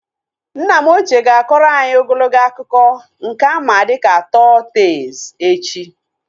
Nna m ochie ga-akọrọ anyị ogologo akụkọ nke a ma dịka tọl tees echi